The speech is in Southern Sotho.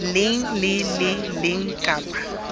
leng le le leng kapa